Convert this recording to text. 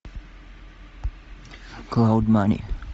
клауд мани